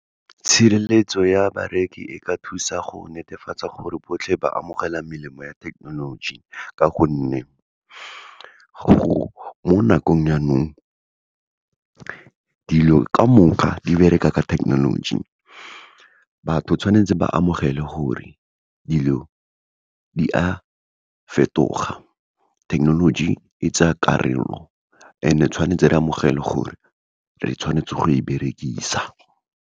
Tshireletso ya bareki e ka thusa go netefatsa gore botlhe ba amogela melemo ya thekenoloji, ka gonne mo nakong ya nou, dilo ka moka di bereka ka thekenoloji. Batho tshwanetse ba amogele gore dilo di a fetoga, thekenoloji e tsa karolo and-e tshwanetse re amogele gore, re tshwanetse go e berekisa.